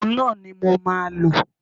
Òhun náà ni mo máa lò.